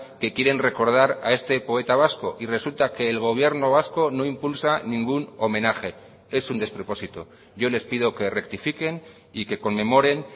que quieren recordar a este poeta vasco y resulta que el gobierno vasco no impulsa ningún homenaje es un despropósito yo les pido que rectifiquen y que conmemoren